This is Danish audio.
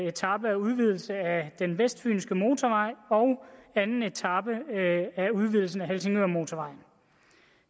etape af udvidelsen af den vestfynske motorvej og anden etape af udvidelsen af helsingørmotorvejen